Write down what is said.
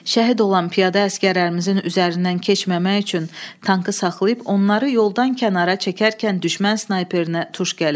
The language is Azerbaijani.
Şəhid olan piyada əsgərlərimizin üzərindən keçməmək üçün tankı saxlayıb onları yoldan kənara çəkərkən düşmən snayperinə tuş gəlir.